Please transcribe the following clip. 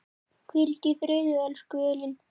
Hvíldu í friði, elsku Elín.